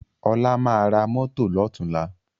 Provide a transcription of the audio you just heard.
Ọlá máa ra mọ́tọ̀ lọ́tùnla